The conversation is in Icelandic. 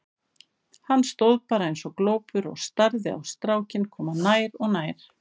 Hann stóð bara eins og glópur og starði á strákinn koma nær og nær.